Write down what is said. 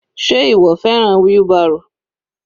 Sé ìwọ fẹ́ràn wheelbarrow?